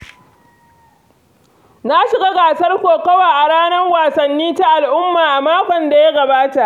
Na shiga gasar kokowa a ranar wasanni ta al’umma a makon da ya gabata.